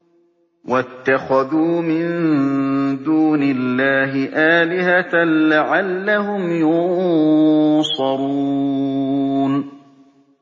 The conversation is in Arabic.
وَاتَّخَذُوا مِن دُونِ اللَّهِ آلِهَةً لَّعَلَّهُمْ يُنصَرُونَ